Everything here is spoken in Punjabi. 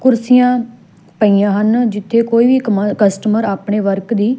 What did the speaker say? ਕੁਰਸੀਆਂ ਪਈਆਂ ਹਨ ਜਿੱਥੇ ਕੋਈ ਵੀ ਕਮਾ ਕਸਟਮਰ ਆਪਣੇ ਵਰਕ ਦੀ--